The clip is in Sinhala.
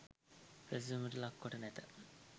පැසැසුමට ලක් කොට නැත.